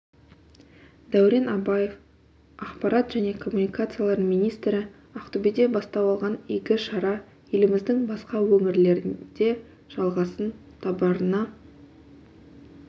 дәурен абаев ақпарат және коммуникациялар министрі ақтөбеде бастау алған игі шара еліміздің басқа өңірлерінде жалғасын табарына